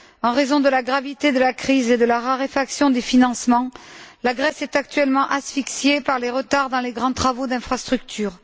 En raison de la gravité de la crise et de la raréfaction des financements, la Grèce est actuellement asphyxiée par les retards dans les grands travaux d'infrastructures.